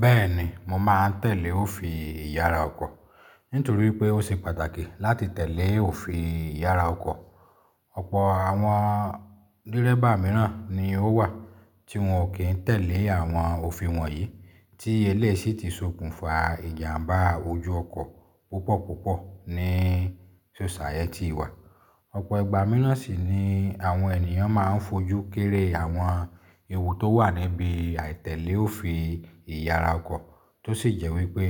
Bẹ́ẹ̀ni mo máa tẹ̀lé òfin ìyara ọkọ̀, nítorí pé ó ṣe pàtàkì láti tẹ̀lé òfin ìyara ọkọ̀. Ọ̀pọ̀ àwọn dírẹ́bà mìíràn ni ó wà tí wọn kì í tẹ̀lé àwọn òfin wọ̀nyí tí eléṣìí ti sokùnfa ìjàmbá ojú ọkọ̀ púpọ̀púpọ̀ ní soṣayẹti wa. Ọ̀pọ̀ ìgbà mìíràn sì ni àwọn ènìyàn máa ń fojú kéré àwọn ewu tó wà níbi àìtẹ̀lé òfin ìyara ọkọ̀ tó sì jẹ́ wípé